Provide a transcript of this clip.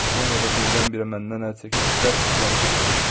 Sonra da birdən-birə məndən əl çəkib cəld küçəni keçdi.